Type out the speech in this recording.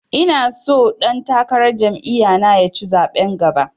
Ina so ɗan takarar jam'iya na ya ci zaɓen gaba